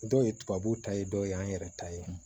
Dɔw ye tubabu ta ye dɔw y'an yɛrɛ ta ye